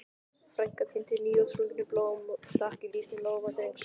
Frænka tíndi nýútsprungin blóm og stakk í lítinn lófa Drengs.